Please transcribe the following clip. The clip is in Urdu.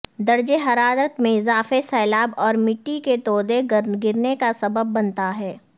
درجہ حرارت میں اضافے سیلاب اور مٹی کے تودے گرنے کا سبب بنتا ہے